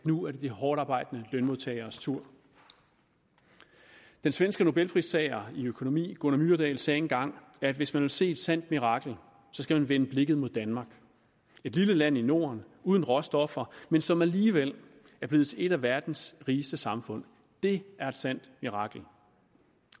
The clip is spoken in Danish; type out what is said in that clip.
nu er de hårdtarbejdende lønmodtageres tur den svenske nobelpristager i økonomi gunnar myrdal sagde engang at hvis man vil se et sandt mirakel skal man vende blikket mod danmark et lille land i norden uden råstoffer men som alligevel er blevet til et af verdens rigeste samfund det er et sandt mirakel